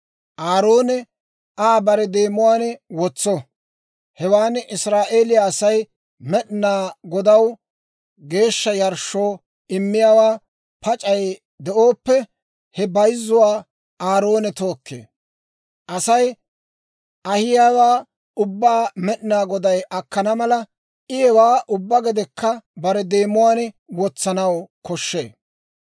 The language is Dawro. Aaroone Aa bare deemuwaan wotso; hewaan Israa'eeliyaa Asay Med'inaa Godaw geeshsha yarshshoo immiyaawan pac'ay de'ooppe, he bayzzuwaa Aaroone tookkee. Asay ahiyaawaa ubbaa Med'inaa Goday akkana mala, I hewaa ubbaa gedekka bare demuwaan wotsanaw koshshee.